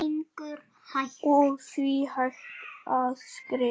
og því hægt að skrifa